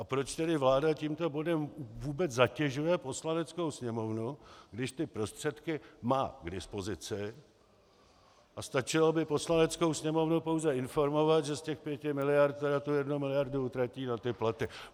A proč tedy vláda tímto bodem vůbec zatěžuje Poslaneckou sněmovnu, když ty prostředky má k dispozici a stačilo by Poslaneckou sněmovnu pouze informovat, že z těch pěti miliard tedy tu jednu miliardu utratí za ty platy.